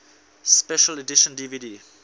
special edition dvd